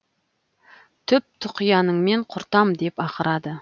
түп тұқияныңмен құртам деп ақырады